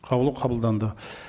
қаулы қабылданды